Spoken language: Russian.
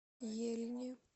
ельни